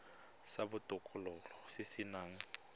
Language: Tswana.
sa botokololo se se nang